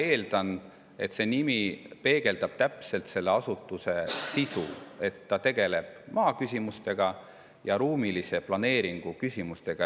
Ma eeldan, et see nimi peegeldab täpselt selle asutuse sisu: ta tegeleb maa küsimustega ja ruumilise planeeringu küsimustega.